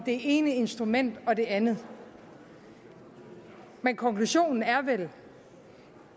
det ene instrument eller det andet men konklusionen er vel